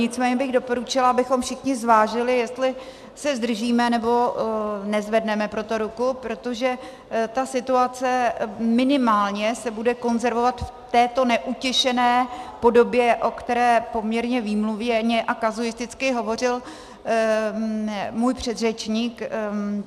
Nicméně bych doporučila, abychom všichni zvážili, jestli se zdržíme, nebo nezvedneme pro to ruku, protože ta situace minimálně se bude konzervovat v této neutěšené podobě, o které poměrně výmluvně a kazuisticky hovořil můj předřečník.